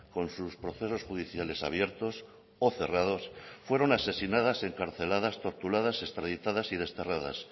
con sus procesos judiciales abiertos o cerrados fueron asesinadas encarceladas torturadas extraditadas y desterradas